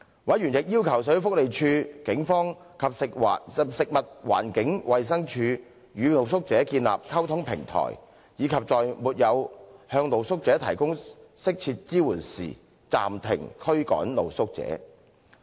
委員亦要求社會福利署、警方及食物環境衞生署與露宿者建立溝通平台，以及在沒有向露宿者提供適切支援時，暫停驅趕露宿者。